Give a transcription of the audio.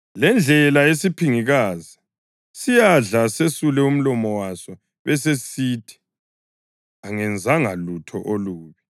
Le yindlela yesiphingikazi: siyadla sesule umlomo waso besesisithi, ‘Angenzanga lutho olubi.’